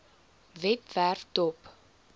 webwerf dop